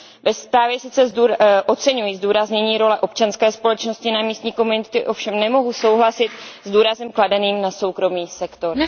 Ve zprávě sice oceňuji zdůraznění role občanské společnosti na místní komunity, ovšem nemohu souhlasit s důrazem kladeným na soukromý sektor.